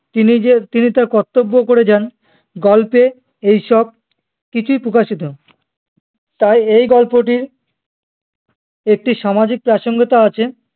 তিনি যে তিনি তার কর্তব্য করে যান গল্পে এইসব কিছুই প্রকাশিত তাই এই গল্পটির একটি সামাজিক প্রাসঙ্গিকতা আছে